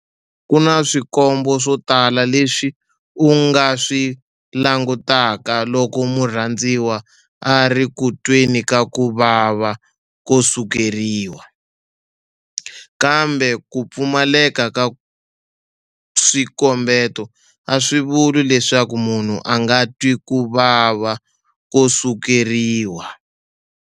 Ku na swikombo swo tala leswi u nga swi langutaka loko murhandziwa a ri ku tweni ka ku vava ko sukeriwa, kambe ku pfumaleka ka swikombeto a swi vuli leswaku munhu a nga twi ku vava ko sukeriwa.